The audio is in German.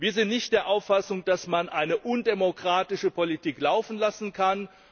Wir sind nicht der Auffassung, dass man eine undemokratische Politik laufen lassen kann.